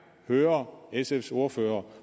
høre sfs ordfører